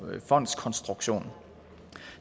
fondskonstruktion